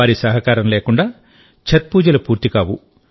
వారి సహకారం లేకుండా ఛత్ పూజలు పూర్తికావు